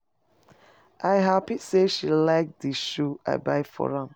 I happy say she like the shoe I buy for am.